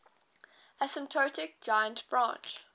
asymptotic giant branch